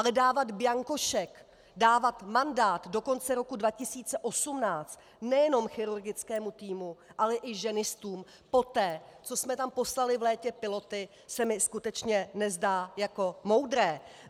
Ale dávat bianko šek, dávat mandát do konce roku 2018 nejenom chirurgickému týmu, ale i ženistům poté, co jsme tam poslali v létě piloty, se mi skutečně nezdá jako moudré.